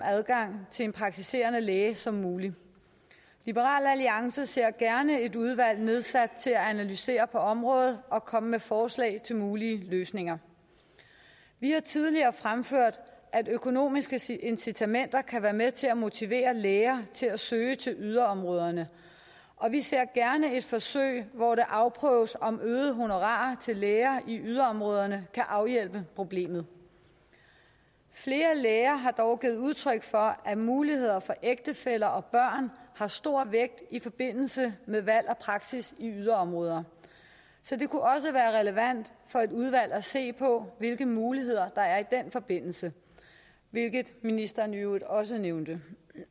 adgang til en praktiserende læge som muligt liberal alliance ser gerne et udvalg nedsat til at analysere på området og komme med forslag til mulige løsninger vi har tidligere fremført at økonomiske incitamenter kan være med til at motivere læger til at søge til yderområderne og vi ser gerne et forsøg hvor det afprøves om øgede honorarer til læger i yderområderne kan afhjælpe problemet flere læger har dog givet udtryk for at muligheder for ægtefæller og børn har stor vægt i forbindelse med valg af praksis i yderområder så det kunne også være relevant for et udvalg at se på hvilke muligheder der er i den forbindelse hvilket ministeren i øvrigt også nævnte